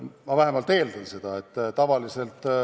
Ma vähemalt eeldan seda.